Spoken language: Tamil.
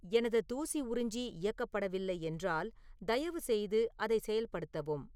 எனது தூசி உறிஞ்சி இயக்கப்படவில்லை என்றால், தயவுசெய்து அதை செயல்படுத்தவும்